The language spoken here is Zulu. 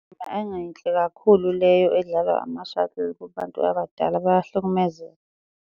Yayingayinhle kakhulu leyo edlalwa ama-shuttle kubantu abadala bayahlukumezeka.